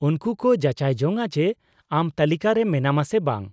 -ᱩᱱᱠᱩ ᱠᱚ ᱡᱟᱪᱟᱭ ᱡᱚᱧᱟ ᱡᱮ ᱟᱢ ᱛᱟᱹᱞᱤᱠᱟ ᱨᱮ ᱢᱮᱱᱟᱢᱟ ᱥᱮ ᱵᱟᱝ ᱾